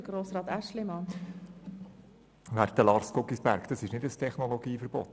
Werter Lars Guggisberg, es handelt sich hier nicht um ein Technologieverbot.